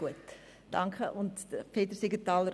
Es hat fehlende und leere Wahlzettel gehabt.